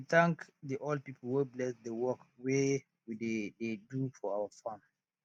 we bin thank the old pipo wey bless the work wey we dey dey do for our farm